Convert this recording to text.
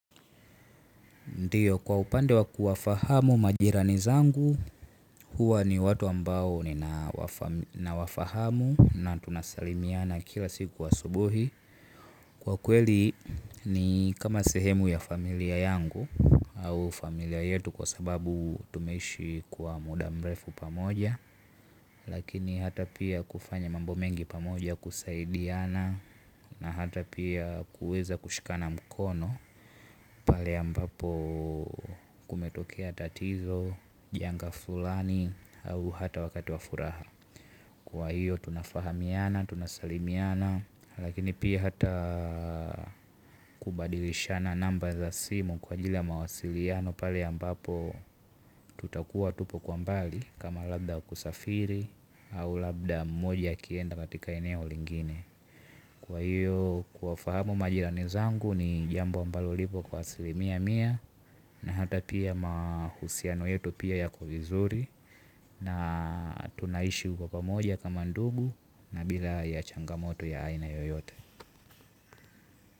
Ndio kwa upande wa kuwafahamu majirani zangu huwa ni watu ambao ninawafahamu na tunasalimiana kila siku asubuhi. Kwa kweli ni kama sehemu ya familia yangu au familia yetu kwa sababu tumeishi kwa muda mrefu pamoja. Lakini hata pia kufanya mambo mengi pamoja kusaidiana na hata pia kuweza kushikana mkono. Pale ambapo kumetokea tatizo, janga fulani au hata wakati wa furaha. Kwa hiyo tunafahamiana, tunasalimiana, lakini pia hata kubadilishana namba za simu kwa ajili ya mawasiliano pale ambapo tutakuwa tupo kwa mbali kama labda kusafiri au labda mmoja akienda katika eneo lingine. Kwa hiyo kuwafahamu majirani zangu ni jambo ambalo lipo kwa asilimia mia. Na hata pia mahusiano yetu pia yako vizuri. Na tunaishi kwa pamoja kama ndugu na bila ya changamoto ya aina yoyote.